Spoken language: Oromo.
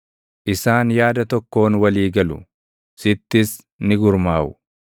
Isaan yaada tokkoon walii galu; sittis ni gurmaaʼu;